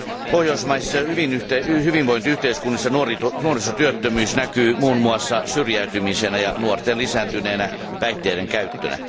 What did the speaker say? Pohjoismaisissa hyvinvointiyhteiskunnissa nuorisotyöttömyys näkyy muun muassa syrjäytymisenä ja nuorten lisääntyneenä päihteiden käyttönä.